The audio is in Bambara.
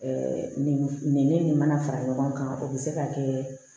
nin nin ne nin mana fara ɲɔgɔn kan o bɛ se ka kɛ